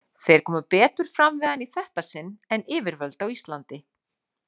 Þeir komu betur fram við hann í þetta sinn en yfirvöld á Íslandi.